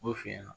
O f'i ɲɛna